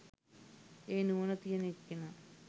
ඒ නුවණ තියෙන එක්කෙනා